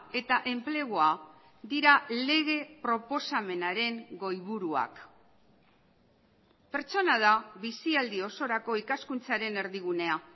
eta enplegua dira lege proposamenaren goiburuak pertsona da bizialdi osorako ikaskuntzaren erdigunea